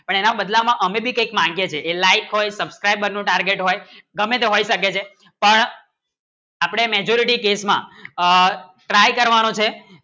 પણ એમાં બદલા માં હમે ભી એક માંગે છે જે like હોય subcribe નું target હોય કમેં તો હોય શકે છે પણ પણ અપને majority case માં try કરવાનું છે